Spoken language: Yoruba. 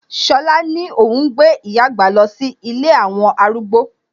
Ṣọlá ni óhún gbé ìyá àgbà lọ sí ilé àwọn arúgbó